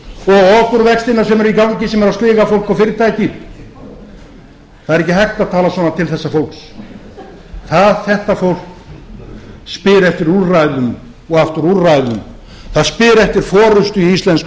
og okurvextina sem eru í gangi sem eru að sliga fólk og fyrirtæki það er ekki hægt að tala svona til þessa fólks þetta fólk spyr eftir úrræðum og aftur úrræðum það spyr eftir forustu í íslensku